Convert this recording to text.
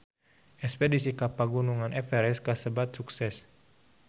Espedisi ka Pegunungan Everest kasebat sukses